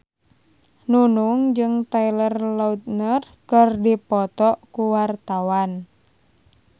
Nunung jeung Taylor Lautner keur dipoto ku wartawan